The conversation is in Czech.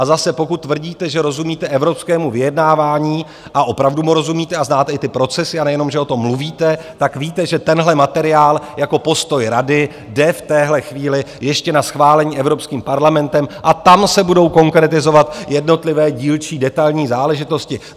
A zase, pokud tvrdíte, že rozumíte evropskému vyjednávání, a opravdu mu rozumíte a znáte i ty procesy, a nejenom že o tom mluvíte, tak víte, že tenhle materiál jako postoj Rady jde v téhle chvíli ještě na schválení Evropským parlamentem a tam se budou konkretizovat jednotlivé dílčí detailní záležitosti.